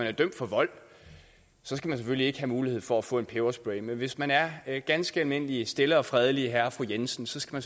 er dømt for vold selvfølgelig ikke skal have mulighed for at få en peberspray men hvis man er er ganske almindelige stille og fredelige herre og fru jensen skal